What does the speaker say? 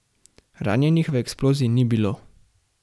Ranjenih v eksploziji ni bilo.